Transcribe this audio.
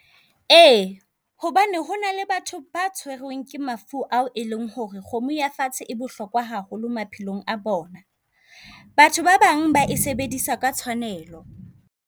Ee hobane hona le batho ba ke mafu ao e leng hore kgomo ya fatshe e bohlokwa haholo maphelong a bona. Batho ba bang ba e sebedisa ka tshwanelo.